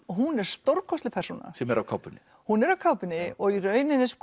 hún er stórkostleg persóna sem er á kápunni hún er á kápunni í rauninni